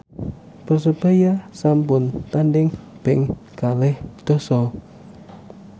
Persebaya sampun tandhing ping kalih dasa